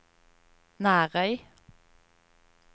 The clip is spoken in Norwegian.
Nærøy